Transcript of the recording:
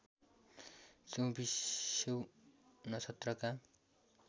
चौबीसौँ नक्षत्रका